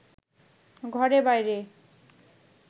ঘরে বাইরে